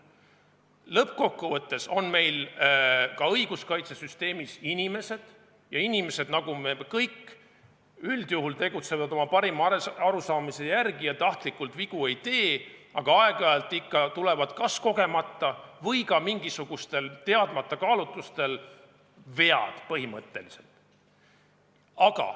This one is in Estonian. Lõppkokkuvõttes on meil ka õiguskaitsesüsteemis inimesed, ja inimesed, nagu me kõik, üldjuhul tegutsevad oma parima arusaamise järgi ja tahtlikult vigu ei tee, aga aeg-ajalt ikka tulevad neil kas kogemata või ka mingisugustel teadmata kaalutlustel vead.